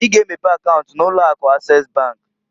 I ga emepe akaunt na ụlọ Akụ Ases bankǃ